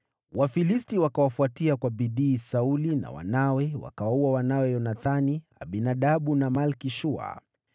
Wafilisti wakawafuatia kwa bidii Sauli na wanawe, wakawaua Yonathani, Abinadabu na Malki-Shua.